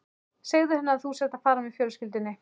Segðu henni að þú sért að fara með fjölskyldunni